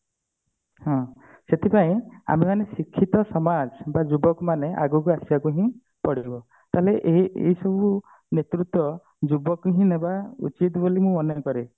ହଁ ସେଥିପାଇଁ ଆମେ ମାନେ ଶିକ୍ଷିତ ସମାଜ ବା ଯୁବକ ମାନେ ଆଗକୁ ଆସିବାକୁ ହିଁ ପଡିବ ତାହେଲେ ଏଇ ଏଇ ସବୁ ନେତୃତ୍ଵ ଜୀବକ ହିଁ ନବା ଉଚିତ ବୋଲି ମୁଁ ଅନୁଭବ କରେ